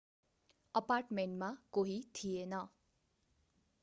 अपार्टमेन्टमा कोही थिएन